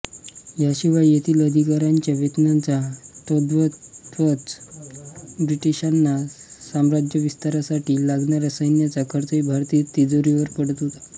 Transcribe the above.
याशिवाय येथील अधिकाऱ्याच्या वेतनाचा तद्वतच ब्रिटिशांना साम्राज्यविस्तारासाठी लागणाऱ्या सैन्याचा खर्चही भारतीय तिजोरीवर पडत होता